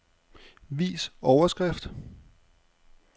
Vis overskrift.